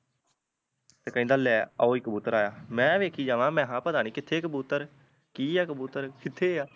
ਤੇ ਕਹਿੰਦਾ ਲੈ ਓ ਈ ਕਬੂਤਰ ਆਇਆ ਮੈ ਵੇਖਿ ਜਾਵਾ ਮੈਹਾ ਪਤਾ ਨਹੀਂ ਕਿਥੇ ਕਬੂਤਰ ਕਿ ਆ ਕਬੂਤਰ ਕਿਥੇ ਆ ਕਬੂਤਰ